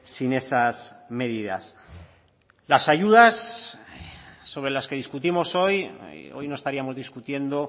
sin esas medidas las ayudas sobre las que discutimos hoy hoy no estaríamos discutiendo